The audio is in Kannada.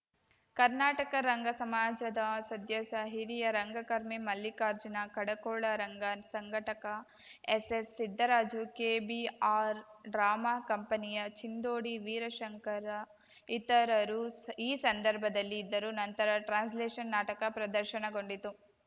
ಕರ್ನಾಟಕ ರಂಗ ಸಮಾಜದ ಸದ್ಯಸ್ಯ ಹಿರಿಯ ರಂಗಕರ್ಮಿ ಮಲ್ಲಿಕಾರ್ಜುನ ಕಡಕೋಳ ರಂಗ ಸಂಘಟಕ ಎಸ್‌ಎಸ್‌ಸಿದ್ದರಾಜು ಕೆಬಿಆರ್‌ ಡ್ರಾಮಾ ಕಂಪನಿಯ ಚಿಂದೋಡಿ ವೀರಶಂಕರ್‌ ಇತರರು ಈ ಸಂದರ್ಭದಲ್ಲಿ ಇದ್ದರು ನಂತರ ಟ್ರಾನ್ಸಲೇಷನ್‌ ನಾಟಕ ಪ್ರದರ್ಶನಗೊಂಡಿತು